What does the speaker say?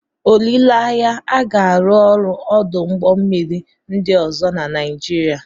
Olileanya, a ga-arụ ọrụ ọdụ ụgbọ mmiri ndị ọzọ na Nigeria.